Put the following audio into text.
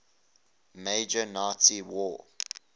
major nazi war